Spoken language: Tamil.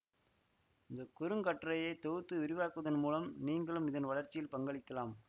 இந்த குறுங்கட்டுரையை தொகுத்து விரிவாக்குவதன் மூலம் நீங்களும் இதன் வளர்ச்சியில் பங்களிக்கலாம்